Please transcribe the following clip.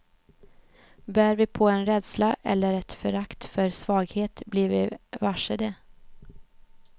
Bär vi på en rädsla eller ett förakt för svaghet blir vi varse det.